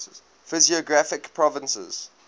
physiographic provinces